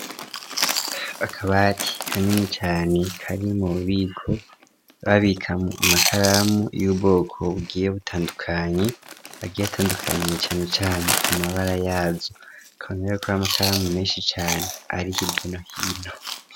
Akabati kanini cane karimwo ububiko babikamwo amakaramu y'ubwoko bugiye butandukanye agiye atandukaniye cane cane ku mabara yazo ukabona yuko ari amakaramu meshi cane ari hirya no hino.